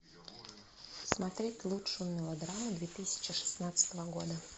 смотреть лучшую мелодраму две тысячи шестнадцатого года